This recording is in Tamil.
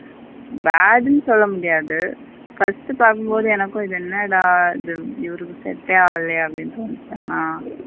Bad னு சொல்லமுடியாது first பாக்கும்போது என்னகும் இது என்னதுட இது இவருக்கு set யே ஆகலையே அப்படின்னு.